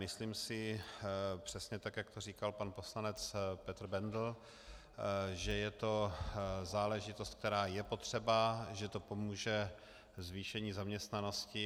Myslím si přesně tak, jak to říkal pan poslanec Petr Bendl, že je to záležitost, která je potřeba, že to pomůže zvýšení zaměstnanosti.